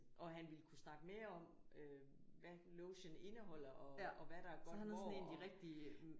Og han ville kunne snakke med om øh hvad lotion indeholder og og hvad der er godt hvor